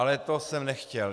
Ale to jsem nechtěl.